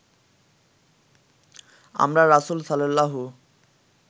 আমরা রাসূল সাল্লাল্লাহু